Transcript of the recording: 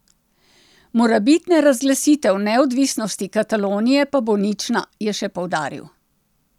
Morebitna razglasitev neodvisnosti Katalonije pa bo nična, je še poudaril.